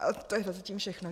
A to je zatím všechno.